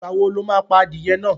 Ìgbà wo lo máa pa adìyẹ náà?